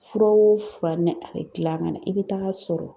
Fura o fura, nɛ a bɛ gilan ka na, i bɛ taa sɔrɔ